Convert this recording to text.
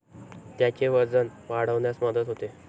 त्याचे वजन वाढण्यास मदत होते.